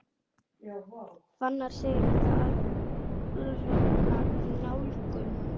Fannar segir þetta alranga nálgun.